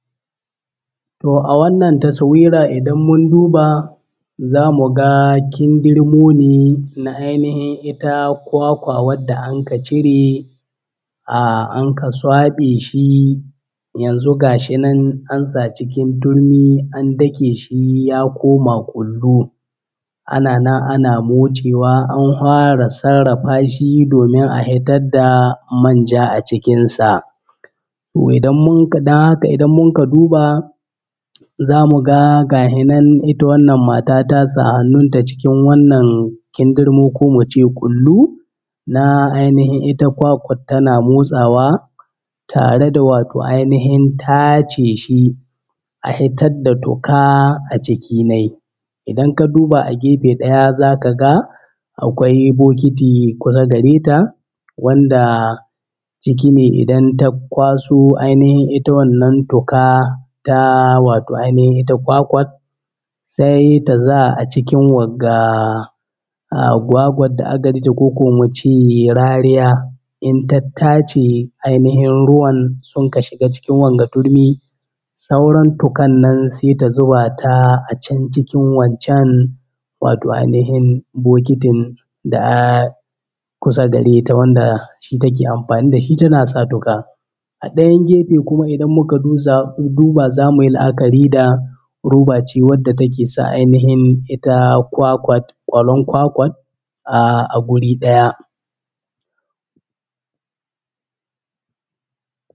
Toh a wannan tasawira idan mun duba za mu ga kindirmo ne na ainihin ita kwakwa wadda anka cire ahh anka swaɓe shi yanzu gashi nan an sa cikin turmi an dake shi ya koma ƙullu. Ana nan ana motsewa an hwara sarrafa shi domin a hitar da manja a cikin sa. Dan haka idan munka duba za mu ga gahe nan ita wannan mata ta sa hannun ta cikin wannan kindirmo komu ce ƙullu na ainihin ita kwakwar tana motsawa tare da wato ainihin tace shi a hitad da toka a ciki nai. Idan ka duba a gefe ɗaya za ka ga akwai bokiti kusa gare ta wanda ciki ne idan ta kwaso ainihin ita wannan toka ta wato ainihin ita kwakwa sai ta sa a cikin wagga ahh gwagwad da aka ijje ko ko mu ce rariya in ta tace ainihin ruwan sunka shiga cikin wanga turmi sauran tukan nan sai ta zuba ta a can cikin waccan wato ainihin bokitin da a kusa gare ta wanda shi take amfani da shi tana sa tuƙa. A ɗayan gefe kuma idan muka duba za mu yi la’akari da roba ce wadda take sa ainihin ita kwakwat ƙwallon kwakwat a guri ɗaya.